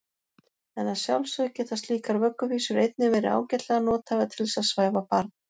En að sjálfsögðu geta slíkar vögguvísur einnig verið ágætlega nothæfar til þess að svæfa barn.